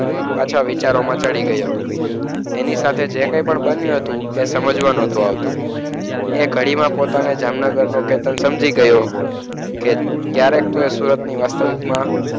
પાછા વિચારોમાં ચડી ગયો. એની સાથે જે કંઈ પણ બન્યું હતું એ સમજવા નહોતું આવતું. એ ગાડીમાં પોતાને જામનગરનો ચેતન સમજી ગયો. કે ક્યારેક તો એ સુરતની વાસ્તવિકમાં,